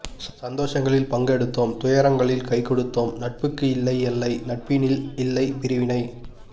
சந்தோஷங்களில் பங்கெடுத்தோம் துயரங்களில் கை கொடுத்தோம் நட்புக்குக்கு இல்லை எல்லை நட்பினில் இல்லை பிரிவினை